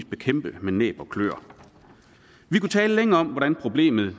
bekæmpe med næb og kløer vi kunne tale længe om hvordan problemet